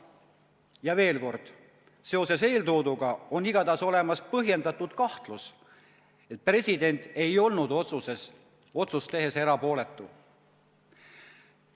Ja veel kord: seoses eeltooduga on igatahes olemas põhjendatud kahtlus, et president ei olnud otsust tehes erapooletu.